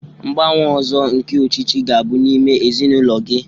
Ngbanwe ọzọ nke ọchịchị ga-abụ n'ime ezinụlọ gị